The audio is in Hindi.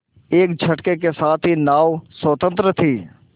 एक झटके के साथ ही नाव स्वतंत्र थी